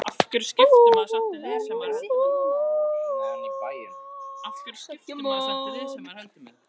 Þá hætti ég líka að kalla þig Lilla.